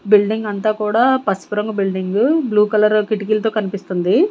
Building అంతా కూడా పసుపురంగు బిల్డింగ్ బ్లూ కలర్ కిటికీలతో కనిపిస్తుంది.